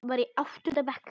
Var í áttunda bekk.